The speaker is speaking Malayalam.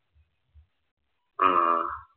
ആഹ്